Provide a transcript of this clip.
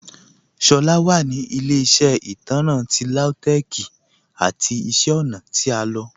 Shola wa ni ilẹ̀-iṣẹ́ itanrán ti Lautech's ati iṣẹ́ ọ̀na ti a lọ.